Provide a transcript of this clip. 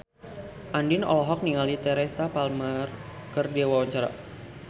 Andien olohok ningali Teresa Palmer keur diwawancara